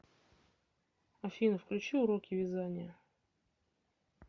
афина включи уроки вязания